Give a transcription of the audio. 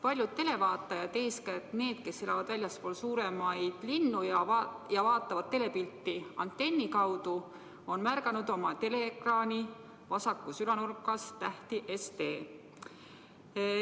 Paljud televaatajad, eeskätt need, kes elavad väljaspool suuremaid linnu ja vaatavad telepilti antenni abil, on märganud oma teleekraani vasakus ülanurgas tähti SD.